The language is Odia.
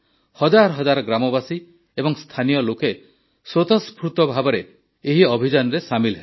ହଜାର ହଜାର ଗ୍ରାମବାସୀ ଏବଂ ସ୍ଥାନୀୟ ଲୋକେ ସ୍ୱତଃସ୍ଫୁର୍ତ୍ତ ଭାବେ ଏହି ଅଭିଯାନରେ ସାମିଲ ହେଲେ